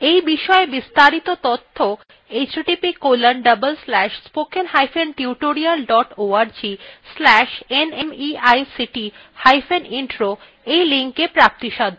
এই বিষয় বিস্তারিত তথ্য